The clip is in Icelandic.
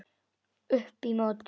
Upp í móti.